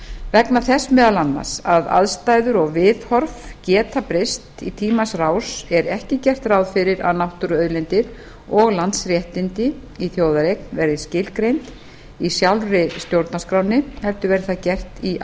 vegna þess meðal annars að aðstæður og viðhorf geta breyst í tímans rás er ekki gert ráð fyrir að náttúruauðlindir og landsréttindi í þjóðareign verði skilgreind í sjálfri stjórnarskránni heldur verði það gert í